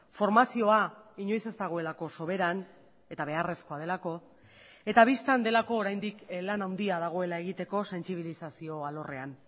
formazioa inoiz ez dagoelako soberan eta beharrezkoa delako eta bistan delako oraindik lan handia dagoela egiteko sentsibilizazio alorrean